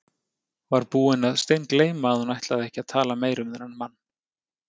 Var búin að steingleyma að hún ætlaði ekki að tala meira um þennan mann.